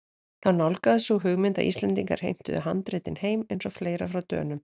Þá nálgaðist sú hugmynd að Íslendingar heimtuðu handritin heim- eins og fleira frá Dönum.